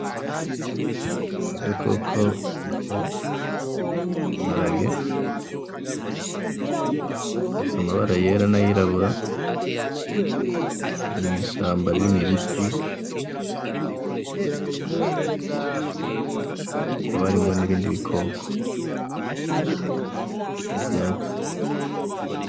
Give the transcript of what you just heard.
Agakoko bita imparage, gafise amabara yera n'ayirabura kari mw'ishamba ririmwo ibiti hakaba harimwo n'ibindi bikoko n'ivyatsi.